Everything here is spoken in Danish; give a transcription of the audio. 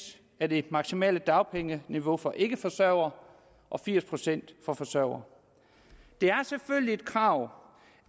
af det maksimale dagpengeniveau for ikkeforsørgere og firs procent for forsørgere det er selvfølgelig et krav